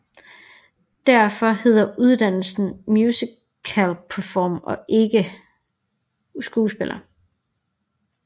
Derfor hedder uddannelsen musicalperformer og ikke skuespiller